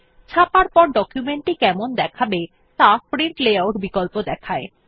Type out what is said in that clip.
ছাপার পর ডকুমেন্ট টি কেমন দেখাবে ত়া প্রিন্ট লেআউট বিকল্প দেখায়